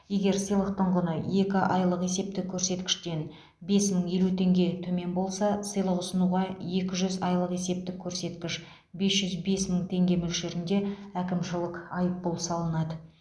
егер сыйлықтың құны екі айлық есептік көрсеткіштен бес мың елу теңге төмен болса сыйлық ұсынуға екі жүз айлық есептік көрсеткіш бес жүз бес мың теңге мөлшерінде әкімшілык айыппұл салынады